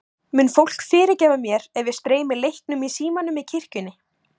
Mun fólk fyrirgefa mér ef ég streymi leiknum í símanum í kirkjunni?